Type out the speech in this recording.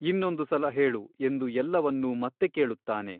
ಇನ್ನೊಂದು ಸಲ ಹೇಳು ಎಂದು ಎಲ್ಲವನ್ನೂ ಮತ್ತೆ ಕೇಳುತ್ತಾನೆ.